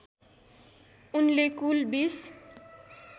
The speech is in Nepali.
उनले कुल २०